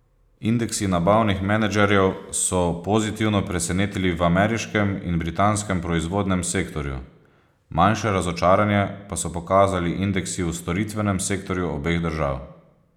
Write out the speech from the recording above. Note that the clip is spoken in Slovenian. Indeksi nabavnih menedžerjev so pozitivno presenetili v ameriškem in britanskem proizvodnem sektorju, manjše razočaranje pa so pokazali indeksi v storitvenem sektorju obeh držav.